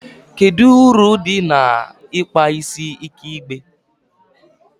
kedu uru dị na ịkpa isi ike igbe?